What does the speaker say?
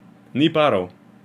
Ni parov.